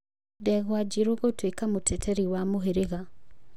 Ndegwa Njiru gũtuĩka mũteteri wa mũhĩrĩga.